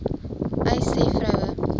uys sê vroue